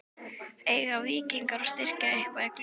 Eiga Víkingar von á að styrkja sig eitthvað í glugganum?